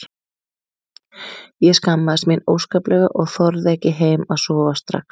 Ég skammaðist mín óskaplega og þorði ekki heim að sofa strax.